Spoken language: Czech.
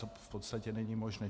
To v podstatě není možné.